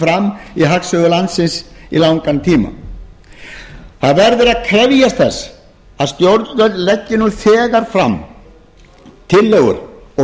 fram í hagsögu landsins í langan tíma það verður að krefjast þess að stjórnvöld leggi nú þegar fram tillögur og